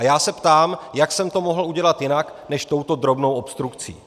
A já se ptám, jak jsem to mohl udělat jinak než touto drobnou obstrukcí.